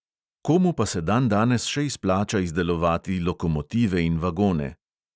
Komu pa se dandanes še izplača izdelovati lokomotive in vagone?